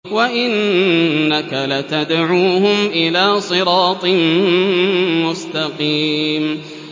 وَإِنَّكَ لَتَدْعُوهُمْ إِلَىٰ صِرَاطٍ مُّسْتَقِيمٍ